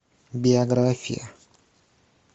биография